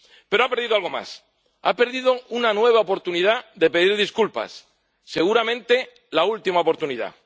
Pero ha perdido algo más ha perdido una nueva oportunidad de pedir disculpas, seguramente la última oportunidad.